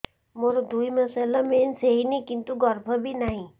ମୋର ଦୁଇ ମାସ ହେଲା ମେନ୍ସ ହେଇନି କିନ୍ତୁ ଗର୍ଭ ବି ନାହିଁ